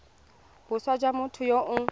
boswa jwa motho yo o